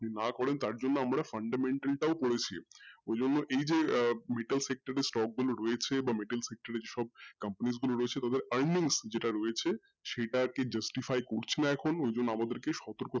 না করেন তার জন্য আমরা fundamental টাও করেছি ওইজন্য এইযে আহ metal sector এর stock গুলো রয়েছে বা metal sector এর stock companies গুলো রয়েছে ওদের earnings যেটা রয়েছে সেটা কে justify করছিনা এখন ওইজন্য আমাদেরকে সতর্ক থাকতে হবে,